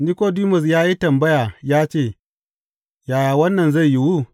Nikodimus ya yi tambaya ya ce, Yaya wannan zai yiwu?